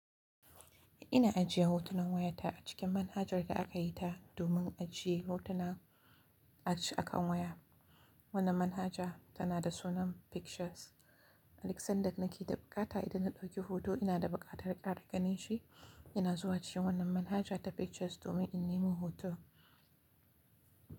Ina ajiye hotunan wayata a cikin manhajar da aka yi ta domin ajiye hotuna a kan waya. Wannan manhaja tana da sunan Pictures. Alok san daƙnaƙi da bukata idan na ɗauki hoto ina da buƙatar ɗaga nashi, ina zuwa cikin wannan manhaja ta Pictures domin in nemo hoto.